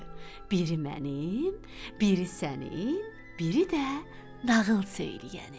Biri mənim, biri sənin, biri də nağıl söyləyənin.